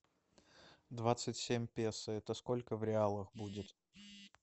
двадцать семь песо это сколько в реалах будет